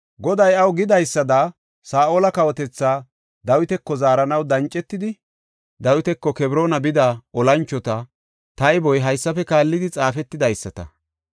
Goday iyaw gidaysada Saa7ola kawotethaa Dawitako zaaranaw dancetidi Dawitako Kebroona bida olanchota tayboy haysafe kaallidi xaafetidaysata.